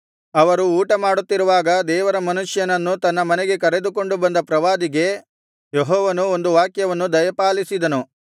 ಅವರು ಊಟಮಾಡುತ್ತಿರುವಾಗ ದೇವರ ಮನುಷ್ಯನನ್ನು ತನ್ನ ಮನೆಗೆ ಕರೆದುಕೊಂಡು ಬಂದ ಪ್ರವಾದಿಗೆ ಯೆಹೋವನು ಒಂದು ವಾಕ್ಯವನ್ನು ದಯಪಾಲಿಸಿದನು